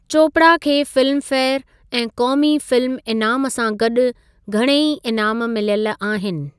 चोपड़ा खे फिल्मफेयर ऐं क़ौमी फिल्म इनामु सां गॾु घणेई इनामु मिलयलु आहिनि।